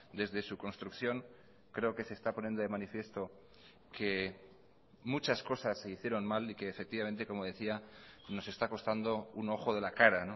desde su construcción creo que se está poniendo de manifiesto que muchas cosas se hicieron mal y que efectivamente como decía nos está costando un ojo de la cara